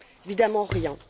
Évidemment, rien!